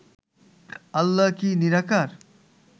আল্লাহ কি নিরাকার?